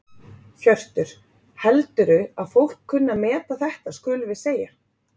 Hjörtur: Heldurðu að fólk kunni að meta þetta skulum við segja?